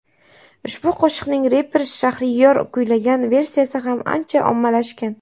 Ushbu qo‘shiqning reper Shahriyor kuylagan versiyasi ham ancha ommalashgan .